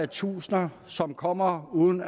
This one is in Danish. tusinde som kommer uden